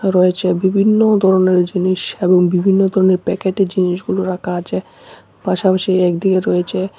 রয়েছে বিভিন্ন ধরনের জিনিস এবং বিভিন্ন ধরনের প্যাকেটে জিনিসগুলো রাখা আছে পাশাপাশি একদিকে রয়েছে--